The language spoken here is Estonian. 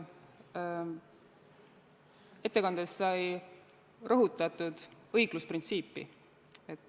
Ettekandes sai rõhutatud õiglusprintsiipi.